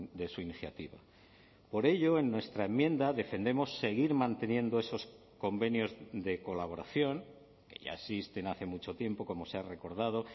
de su iniciativa por ello en nuestra enmienda defendemos seguir manteniendo esos convenios de colaboración que ya existen hace mucho tiempo como se ha recordado